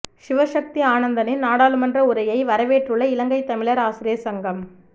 சிவசக்தி ஆனந்தனின் நாடாளுமன்ற உரையை வரவேற்றுள்ள இலங்கைத் தமிழர் ஆசிரியர் சங்கம்